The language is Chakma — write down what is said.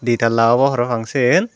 di talla obo para pang siyen.